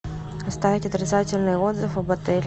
оставить отрицательный отзыв об отеле